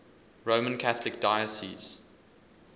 roman catholic diocese